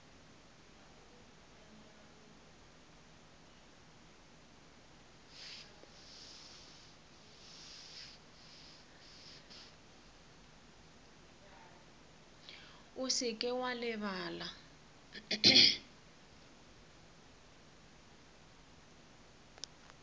o se ke wa lebala